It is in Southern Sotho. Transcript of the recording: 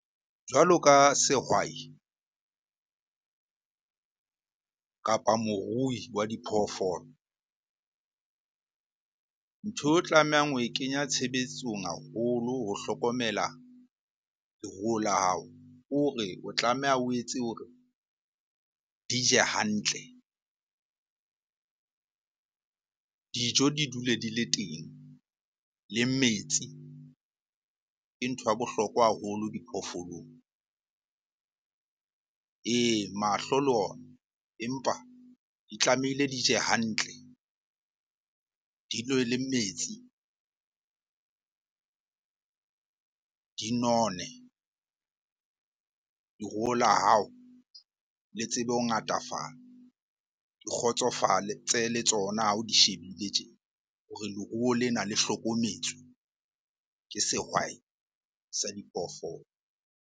Jwalo ka sehwai kapa morui wa diphoofolo. Ntho o tlamehang ho e kenya tshebetsong haholo ho hlokomela leruo la hao. Kore o tlameha o etse hore di je hantle. Dijo di dule di le teng le metsi ke ntho ya bohlokwa haholo diphoofolong. Ee, mahlo le ona empa di tlamehile di je hantle, di nwe le metsi, di none. Leruo la hao le tsebe ho ngatafala, di kgotsofale le tsona ha o di shebile tje hore leruo lena le hlokometswe ke sehwai sa diphoofolo.